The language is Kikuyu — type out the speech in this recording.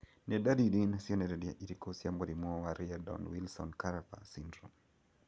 Nĩ ndariri na cionereria irĩkũ cia mũrimũ wa Reardon Wilson Cavanagh syndrome